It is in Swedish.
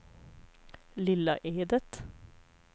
Lilla Edet